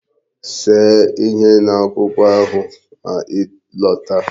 See ihe n'akwụkwọ ahụ ma ị lọta!